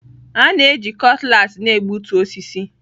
A na-eji Cutlass na-egbutu osisi.